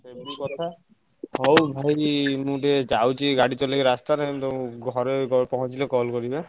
ଏଇଆ ହଉଛି କଥା ହଉ ଭାଇ ମୁଁ ଟିକେ ଯାଉଛି ଗାଡି ଚଳେଇକି ରାସ୍ତାରେ ମୁଁ ତମକୁ ଘରେ ପହଁଚିଲେ call କରିବି।